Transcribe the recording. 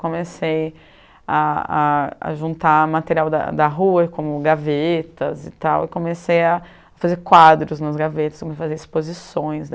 Comecei a a a juntar material da da rua, como gavetas, e comecei a fazer quadros nas gavetas, para fazer exposições.